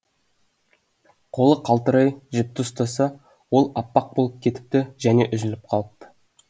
қолы қалтырай жіпті ұстаса ол аппақ болып кетіпті және үзіліп қалыпты